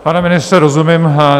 Pane ministře, rozumím.